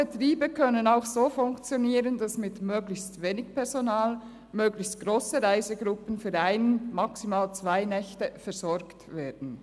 Betriebe können auch so funktionieren, dass mit möglichst wenig Personal möglichst grosse Reisegruppen für ein bis maximal zwei Nächte versorgt werden.